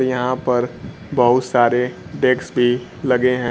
यहां पर बहुत सारे डेक्स भी लगे हैं।